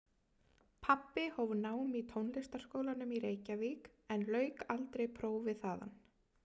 Pabbi hóf nám í Tónlistarskólanum í Reykjavík en lauk aldrei prófi þaðan.